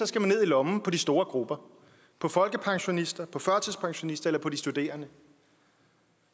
skal man ned i lommen på de store grupper på folkepensionisterne på førtidspensionisterne eller på de studerende